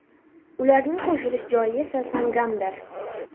Ularning qo‘shilish joyi esa Sangamdir.